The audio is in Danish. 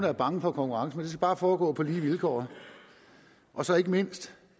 er bange for konkurrence bare foregå på lige vilkår og så ikke mindst